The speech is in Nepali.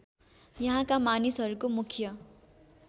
यहाँका मानिसहरूको मुख्य